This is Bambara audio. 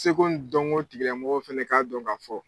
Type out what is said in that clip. Seko n dɔŋo tigilamɔgɔw fɛnɛ k'a dɔn k'a fɔ